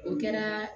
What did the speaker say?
O kɛra